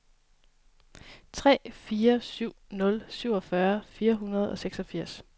tre fire syv nul syvogfyrre fire hundrede og seksogfirs